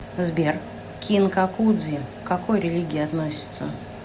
сбер кинкакудзи к какой религии относится